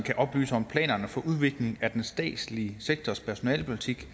oplyse om planerne for udvikling af den statslige sektors personalepolitik